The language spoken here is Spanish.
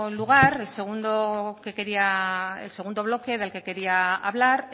lugar el segundo bloque del que quería hablar